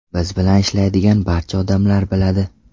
Biz bilan ishlaydigan barcha odamlar biladi.